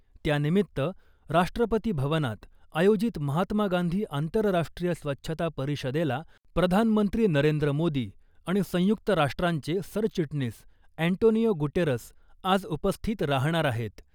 त्यानिमित्त , राष्ट्रपती भवनात आयोजित महात्मा गांधी आंतरराष्ट्रीय स्वच्छता परिषदेला प्रधानमंत्री नरेंद्र मोदी आणि संयुक्त राष्ट्रांचे सरचिटणीस अँटोनियो गुटेरस आज उपस्थित राहणार आहेत .